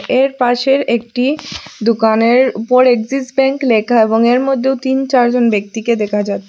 এর পাশের একটি দোকানের উপর অ্যাক্সিস ব্যাংক লেখা এবং এর মধ্যেও তিন-চার জন ব্যক্তিকে দেখা যাচ্ছে।